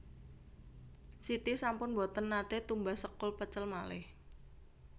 Siti sampun mboten nate tumbas sekul pecel malih